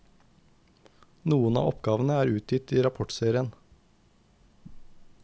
Noen av oppgavene er utgitt i rapportserien.